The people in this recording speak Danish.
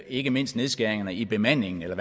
ikke mindst nedskæringerne i bemandingen eller